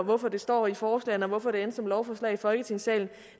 hvorfor det står i forslagene og hvorfor det endte som et lovforslag i folketingssalen